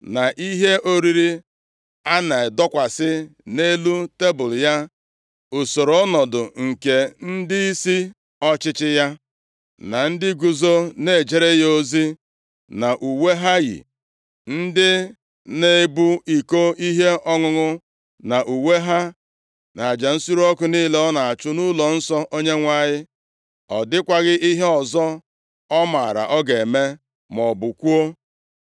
na ihe oriri a na-adọkwasị nʼelu tebul ya, usoro ọnọdụ nke ndịisi ọchịchị ya, na ndị guzo na-ejere ya ozi nʼuwe ha yi, ndị na-ebu iko ihe ọṅụṅụ nʼuwe ha, na aja nsure ọkụ niile ọ na-achụ nʼụlọnsọ Onyenwe anyị. Ọ dịkwaghị ihe ọzọ ọ maara ọ ga-eme, maọbụ kwuo.